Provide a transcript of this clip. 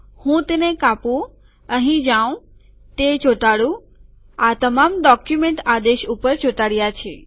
હું તેને કાપું અહીં જાઉં તે ચોંટાડું આ તમામ ડોક્યુમેન્ટ આદેશ ઉપર ચોંટાડ્યા છે